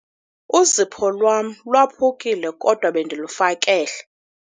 Uzipho lwam lwaphukile kodwa bendilufakele.